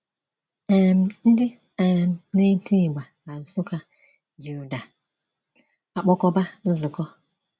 um Ndị um na-eti ịgba na Nsukka ji ụda akpọkoba nzukọ.